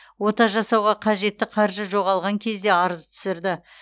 ота жасауға қажетті қаржы жоғалған кезде арыз түсірді